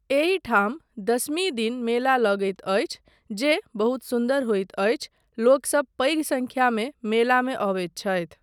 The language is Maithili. एहि ठाम दशमी दिन मेला लगैत अछि जे बहुत सुन्दर होइत अछि, लोकसब पैघ संख्यामे मेलामे अबैत छथि।